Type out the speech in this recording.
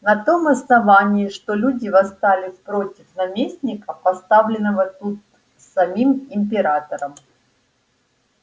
на том основании что люди восстали против наместника поставленного тут самим императором